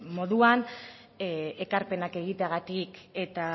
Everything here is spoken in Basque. moduan ekarpenak egiteagatik eta